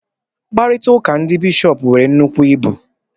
Mkparịta ụka ndị bishọp nwere nnukwu ibu